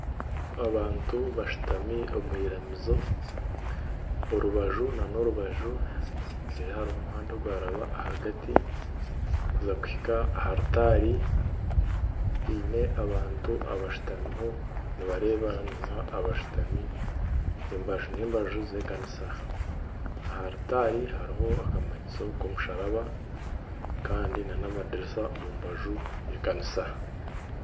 Abantu bashutami omu iramizo orubaju nana orubaju reero hariho omuhanda ogwaraba ahagati kuza kuhika aha rutaari haine abantu abashutamiho nibareebana n'abantu abashutami embaju n'embaju z'ekanisa, aha rutaari hariho akamanyiso k'omusharaba kandi nana amadiriisa omu mbaju z'ekanisa